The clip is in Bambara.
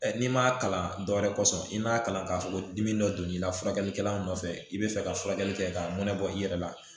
n'i m'a kalan dɔw wɛrɛ kɔsɔn i m'a kalan k'a fɔ ko dimi dɔ don n'i la furakɛlikɛla nɔfɛ i bɛ fɛ ka furakɛli kɛ ka mɔnɛ bɔ i yɛrɛ la